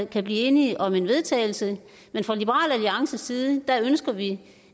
kan blive enige om et vedtagelse fra liberal alliances side ønsker vi